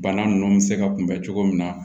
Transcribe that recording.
Bana nunnu mi se ka kunbɛn cogo min na